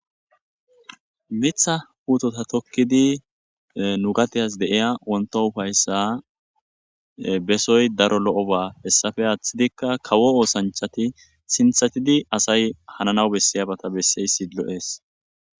Mitha puteta tokidi nugades de'iya wonto ufaysa besoy daro lo'oba hesappe athidika kawo osanchati sinthatidi asay hanana asay besiyaba besizaysi lo'es